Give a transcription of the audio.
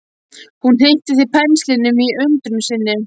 Hún hnykkti til penslinum í undrun sinni.